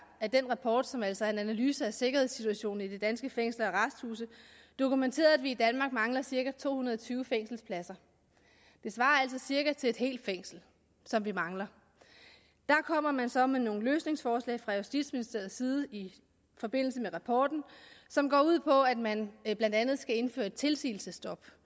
at den rapport som altså er en analyse af sikkerhedssituationen i de danske fængsler og arresthuse dokumenterede at i danmark mangler cirka to hundrede og tyve fængselspladser det svarer altså cirka til et helt fængsel som vi mangler der kommer man så med nogle løsningsforslag fra justitsministeriets side i forbindelse med rapporten som går ud på at man blandt andet skal indføre et tilsigelsesstop